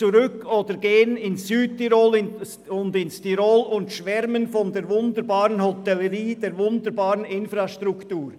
Nach Ihren Ferien im Südtirol schwärmen Sie vielleicht von der wunderbaren Hotellerie und der wunderbaren Infrastruktur.